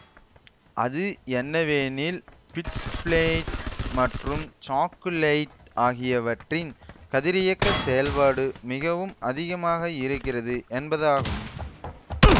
அது என்னவெனில் பிட்ச்பிளென்ட் மற்றும் சாக்குலைட் ஆகியவற்றின் கதிரியக்க செயல்பாடு மிகவும் அதிகமாக இருக்கிறது என்பதாகும்